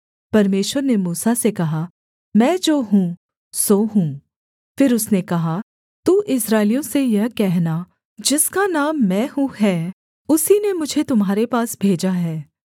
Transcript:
परमेश्वर ने मूसा से कहा मैं जो हूँ सो हूँ फिर उसने कहा तू इस्राएलियों से यह कहना जिसका नाम मैं हूँ है उसी ने मुझे तुम्हारे पास भेजा है